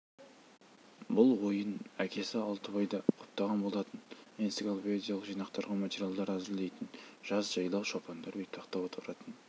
бұл ойын әкесі алтыбай да құптаған болатын энциклопедиялық жинақтарға материалдар әзірлейтін жаз жайлау шопандар бетпақта отыратын